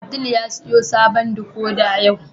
Abdul ya siyo sabon "decoder" yau.